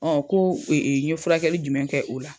ko n ye furakɛli jumɛn kɛ o la?